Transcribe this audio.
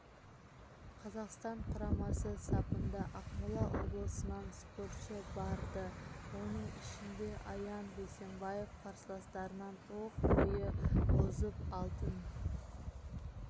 қазақстан құрамасы сапында ақмола облысынан спортшы барды оның ішінде аян бейсенбаев қарсыластарынан оқ бойы озып алтын